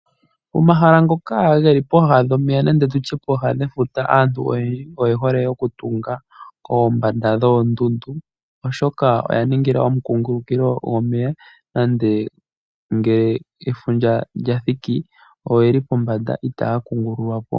Omahala ngoka geli pooha dhomeya nenge tutye pooha dhefuta, aantu oyendji oye hole oku tunga kooha dhoondundu oshoka oya ningila omukungulukilo gomeya nande ngele efundja lyathiki oyeli pombanda itaya kungululwa po.